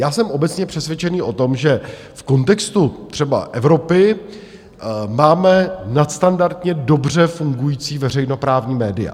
Já jsem obecně přesvědčený o tom, že v kontextu třeba Evropy máme nadstandardně dobře fungující veřejnoprávní média.